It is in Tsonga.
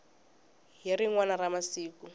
hi rin wana ra masiku